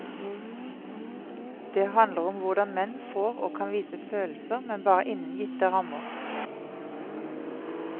Det handler om hvordan menn får og kan vise følelser, men bare innen gitte rammer.